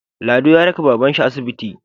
Lado ya raka baban shi asibiti